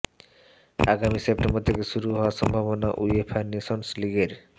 আগামী সেপ্টেন্বর থেকে শুরু হওয়ার সম্ভাবনা উয়েফা নেশনস লিগের